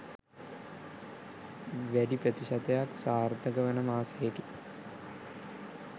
වැඩි ප්‍රතිශතයක් සාර්ථක වන මාසයකි.